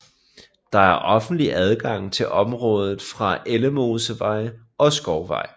Der er offentlig adgang til området fra Ellemosevej og Skovvej